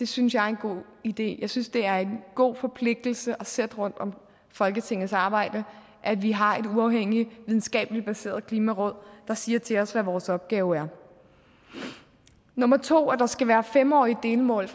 synes jeg er en god idé jeg synes det er en god forpligtelse sætte rundt om folketingets arbejde at vi har et uafhængigt videnskabeligt baseret klimaråd der siger til os hvad vores opgave er nummer to er at der skal være fem årige delmål